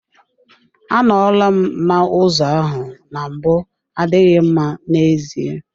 Anọla m n'ụzọ ahụ na mbụ adịghị mma n'ezie.